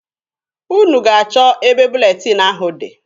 Unu ga-achọ ebe buletin ahụ dị.